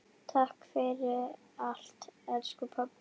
Takk fyrir allt elsku pabbi.